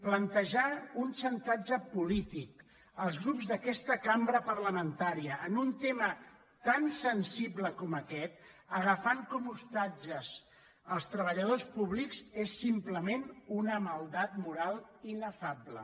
plantejar un xantatge po·lític als grups d’aquesta cambra parlamentària en un te·ma tan sensible com aquest agafant com a ostatges els treballadors públics és simplement una maldat moral inefable